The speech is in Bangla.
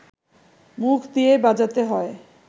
মুখ দিয়ে বাজাতে হয়